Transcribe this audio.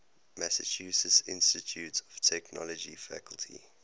massachusetts institute of technology faculty